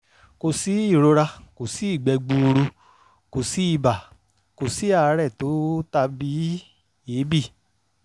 kò sí ìrora kò sí ìgbẹ́ gbuuru kò sí ibà kò sí àárẹ̀ tó tàbí èébì